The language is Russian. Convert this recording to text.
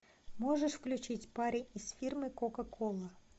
можешь включить парень из фирмы кока кола